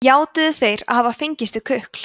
játuðu þeir að hafa fengist við kukl